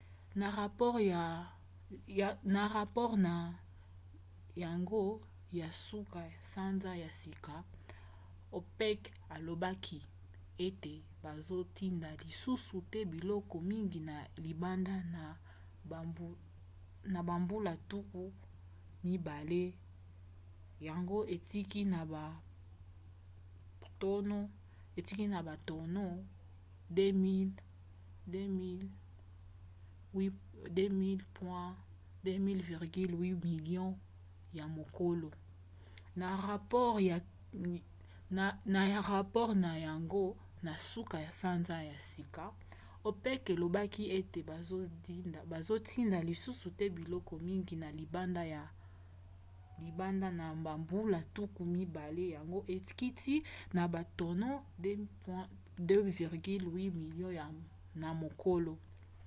na rapore na yango ya nsuka sanza ya sika opec elobaki ete bazotinda lisusu te biloko mingi na libanda na bambula tuku mibale yango ekiti na batono 2,8 milio na mokolo